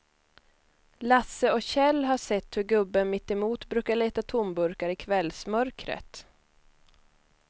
Lasse och Kjell har sett hur gubben mittemot brukar leta tomburkar i kvällsmörkret.